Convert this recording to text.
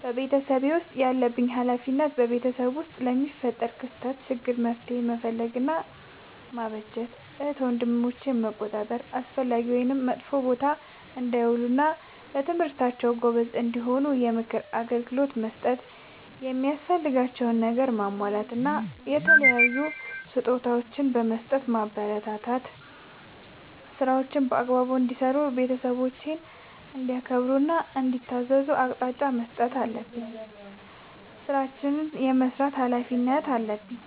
በቤተሰቤ ውስጥ ያለብኝ ኃላፊነት በቤተሰብ ውስጥ ለሚፈጠሩ ክስተቶች ÷ችግሮች መፍትሄ መፈለግ እና ማበጀት ÷ እህት ወንድሞቼን መቆጣጠር አላስፈላጊ ወይም መጥፎ ቦታ እንዳይውሉ እና በትምህርታቸው ጎበዝ እንዲሆኑ የምክር አገልግሎት በመስጠት የሚያስፈልጋቸውን ነገር በማሟላት እና የተለያዩ ስጦታዎችን በመስጠትና በማበረታታት ÷ ስራዎችን በአግባቡ እንዲሰሩ ÷ ቤተሰብን እንዲያከብሩ እና እንዲታዘዙ አቅጣጫ መስጠት አለብኝ። ስራዎችን የመስራት ኃላፊነት አለብኝ።